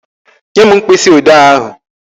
Nye m mkpịsị odee ahụ.